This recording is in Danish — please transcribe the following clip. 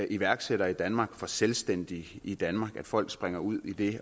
iværksættere i danmark for selvstændige i danmark at folk springer ud i det